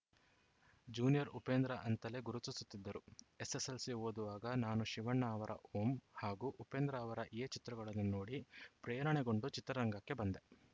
junior Upendra ಅಂತಲೇ ಗುರುತಿಸುತ್ತಿದ್ದರು SSLC ಓದುವಾಗ ನಾನು ಶಿವಣ್ಣ ಅವರ ಓಂ ಹಾಗೂ ಉಪೇಂದ್ರ ಅವರ ಎ ಚಿತ್ರಗಳನ್ನು ನೋಡಿ ಪ್ರೇರಣೆಗೊಂಡು ಚಿತ್ರರಂಗಕ್ಕೆ ಬಂದೆ